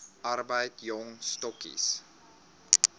arbeid jong stokkies